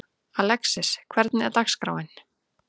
Alexis, hvernig er dagskráin?